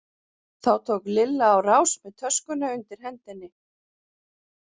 Þá tók Lilla á rás með töskuna undir hendinni.